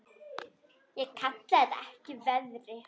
Ég kalla það ekki veiði.